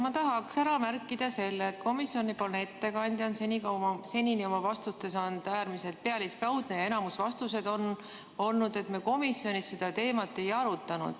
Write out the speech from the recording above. Ma tahaksin ära märkida selle, et komisjoni ettekandja on seni oma vastustes olnud äärmiselt pealiskaudne ja enamik vastuseid on olnud sellised, et me komisjonis seda teemat ei arutanud.